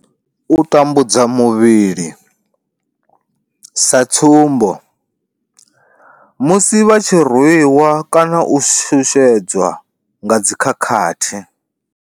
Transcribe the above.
U tambudzwa muvhili, sa tsumbo, musi vha tshi rwi wa kana u shushedzwa nga dzi khakhathi.